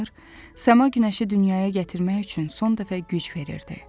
səma günəşi dünyaya gətirmək üçün son dəfə güc verirdi.